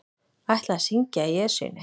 Ætla að syngja í Esjunni